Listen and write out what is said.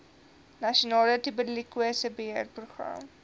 nasionale tuberkulose beheerprogram